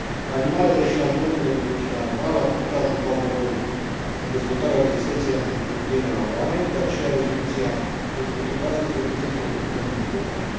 Animalele și alimentele de origine animală ar putea juca un rol în dezvoltarea rezistenței antimicrobiene la oameni, de aceea rezoluția dezbătută astăzi reprezintă un document important.